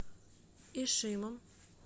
ишимом